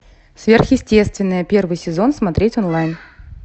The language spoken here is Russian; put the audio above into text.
сверхъестественное первый сезон смотреть онлайн